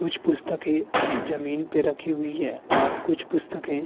कुछ पुस्तकें जमीन पे रखी हुई हैं और कुछ पुस्तकें --